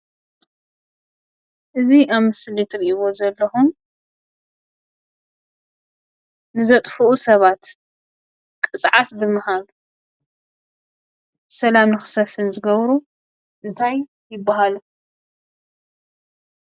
እዚ ኣብ ምስሊ እትርእይዎ ዘለኩም ንዘጥፍኡ ሰባት ቅፅዓት ንምሃብ ሰላም ንክሰፍን ዝገብሩ እንታይ ይባሃሉ?